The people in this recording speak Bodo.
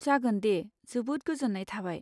जागोन दे! जोबोद गोजोन्नाय थाबाय।